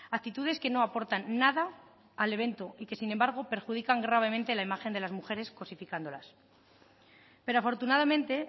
actitudes que no aportan nada al evento y que sin embargo perjudican gravemente la imagen de las mujeres cosificándolas pero afortunadamente